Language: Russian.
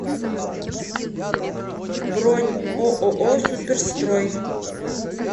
бронь ооо суперстрой